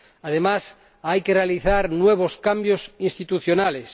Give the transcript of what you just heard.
Además, hay que realizar nuevos cambios institucionales.